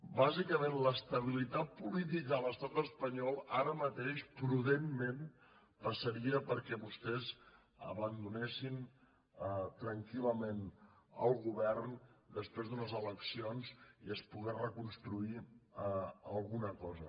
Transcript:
bàsicament l’estabilitat política a l’estat espanyol ara mateix prudentment passaria perquè vostès abandonessin tranquil·lament el govern després d’unes eleccions i es pogués reconstruir alguna cosa